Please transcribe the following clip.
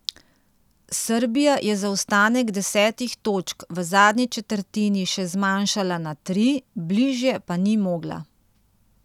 Srbija je zaostanek desetih točk v zadnji četrtini še zmanjšala na tri, bližje pa ni mogla.